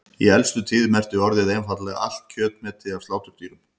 Í elstu tíð merkti orðið einfaldlega allt kjötmeti af sláturdýrum.